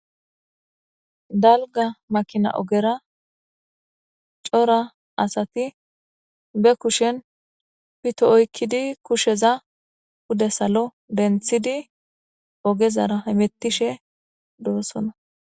Daligga makina ogera cora asati bee kushshenni pito oyikkidi kushsheza pude salo deniththidi ogezaraa hametishshe dosonna.